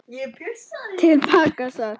Til baka sat